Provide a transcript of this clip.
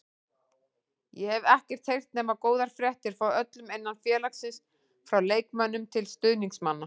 Ég hef ekkert heyrt nema góðar fréttir frá öllum innan félagsins, frá leikmönnum til stuðningsmanna.